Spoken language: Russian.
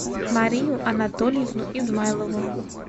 марию анатольевну измайлову